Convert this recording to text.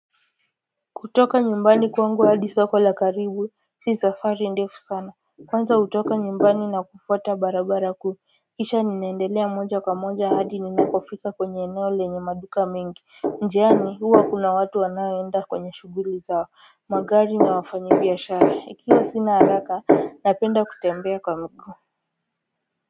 Kutoka nyumbani kwangu hadi soko la karibu si safari ndefu sana Kwanza kutoka nyumbani na kufuata barabara kuu kisha ninaendelea moja kwa moja hadi ninakofika kwenye eneo lenye maduka mingi Njiani huwa kuna watu wanaoenda kwenye shughuli zao magari na wafanyibiashara ikiwa sina haraka napenda kutembea kwa miguu.